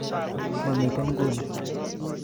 Momiten nguni